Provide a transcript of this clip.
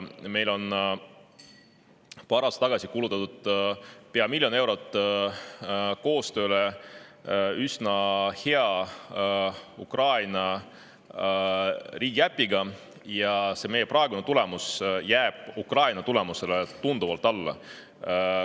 Meil kulutati paar aastat tagasi pea miljon eurot koostööle üsna hea Ukraina riigiäpi, aga meie praegune tulemus jääb Ukraina tulemusele tunduvalt alla.